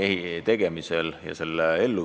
Täpsemalt on juttu riigipiirist ja veel täpsemalt idapiirist.